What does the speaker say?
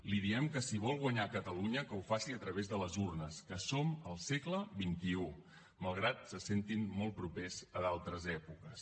li diem que si vol guanyar catalunya ho faci a través de les urnes que som al segle xxi malgrat que se sentin molt propers a d’altres èpoques